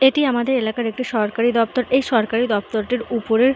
এটি আমাদের এলাকার একটি সরকারি দপ্তর। এই সরকারি দপ্তরটির উপরে--